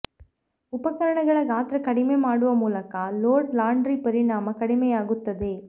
ಉಪಕರಣಗಳ ಗಾತ್ರ ಕಡಿಮೆ ಮಾಡುವ ಮೂಲಕ ಲೋಡ್ ಲಾಂಡ್ರಿ ಪರಿಮಾಣ ಕಡಿಮೆಯಾಗುತ್ತದೆ